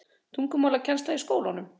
tungumálakennslu í skólanum.